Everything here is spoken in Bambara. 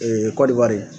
kɔdiwari